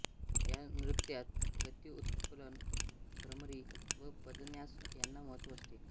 या नृत्यात गतीउत्प्लवन भ्रमरी व पदन्यास यांना महत्त्व असते